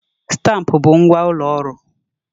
Stampụ bụ ngwa ụlọ ọrụ.